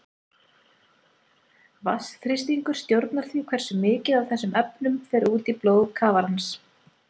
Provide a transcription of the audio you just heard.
Vatnsþrýstingur stjórnar því hversu mikið af þessum efnum fer út í blóð kafarans.